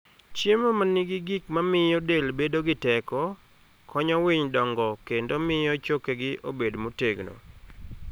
Chiemo ma nigi gik mamiyo del bedo gi teko, konyo winy dongo kendo miyo chokegi obed motegno.